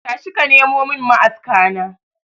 Tashi ka nemo mun ma'aska na.